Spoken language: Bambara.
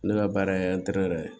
Ne ka baara ye ye